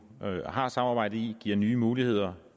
har samarbejde i giver nye muligheder